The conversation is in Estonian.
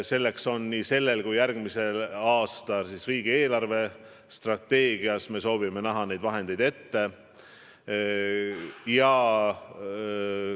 Selleks on nii sellel kui järgmisel aastal raha olemas, riigi eelarvestrateegias me soovime need vahendid ette näha.